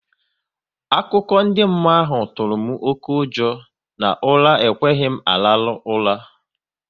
Akụkọ ndị mmụọ ahụ tụrụ m oké ụjọ na ụra ekweghị m araru ura